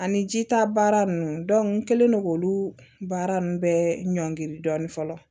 Ani jita baara ninnu n kɛlen don k'olu baara ninnu bɛɛ ɲɔnkiri dɔɔnin fɔlɔ